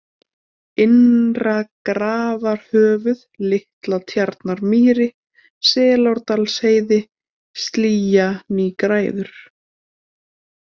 Innra-Grafarhöfuð, Litla-Tjarnamýri, Selárdalsheiði, Slýja-nýgræður